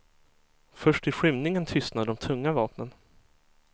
Först i skymningen tystnade de tunga vapnen.